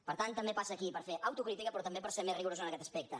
per tant també passa aquí per fer autocrítica però també per ser més rigorosos en aquest aspecte